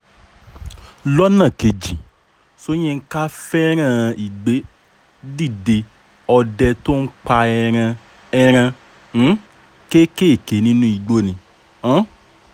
lọ́nà kejì soyinka fẹ́ràn ìgbé-dídé ọdẹ tó ń pa ẹran ẹran um kéékèèké nínú igbó ni um